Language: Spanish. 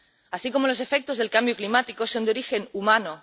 así como los efectos del cambio climático, es de origen humano.